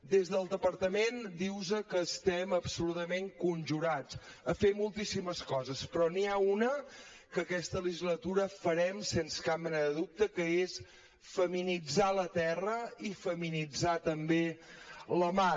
des del departament dir vos que estem absolutament conjurats a fer moltíssimes coses però n’hi ha una que aquesta legislatura farem sense cap mena de dubte que és feminitzar la terra i feminitzar també la mar